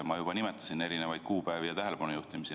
Ma juba nimetasin erinevaid kuupäevi ja tähelepanujuhtimisi.